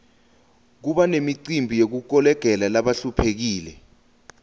kuba nemicimbi yekukolekela labahluphekile